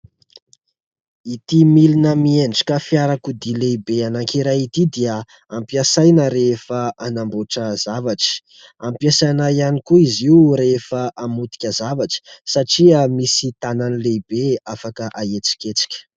Ity milina miendrika fiarakodia lehibe anankiray ity dia ampiasaina rehefa hanamboatra zavatra. Ampiasaina ihany koa izy io rehefa hamotika zavatry satria misy tanany lehibe afaka ahetsiketsika.